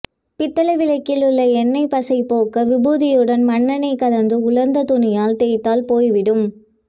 பித்தளை விளக்கில் உள்ள எண்ணெய் பசையைப் போக்க விபூதியுடன் மண்ணெண்ணெய் கலந்து உலர்ந்த துணியால் தேய்த்தால் போய் விடும்